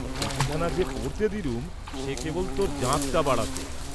চিঠিখানা যে পড়তে দিলুম সে কেবল তোর জাঁকটা বাড়াতে।